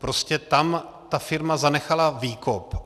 Prostě tam ta firma zanechala výkop.